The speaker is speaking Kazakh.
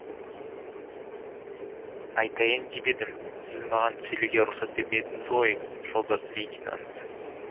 айтайын деп едім сіз маған сөйлеуге рұқсат бермедіңіз ғой жолдас лейтенант